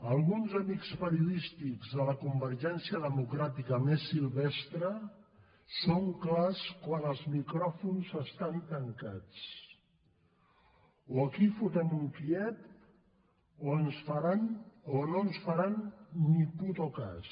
alguns amics periodístics de la convergència democràtica més silvestre són clars quan els micròfons estan tancats o aquí fotem un kíev o no ens faran ni putocas